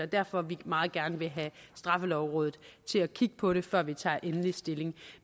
derfor vi meget gerne vil have straffelovrådet til at kigge på det før vi tager endelig stilling